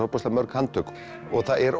mörg handtök og það er